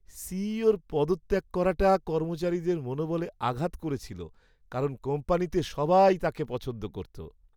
সিইওর পদত্যাগ করাটা কর্মচারীদের মনোবলে আঘাত করেছিল, কারণ কোম্পানিতে সবাই তাঁকে পছন্দ করত।